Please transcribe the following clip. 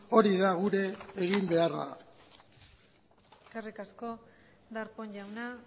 hori da gure eginbeharra eskerrik asko darpón jauna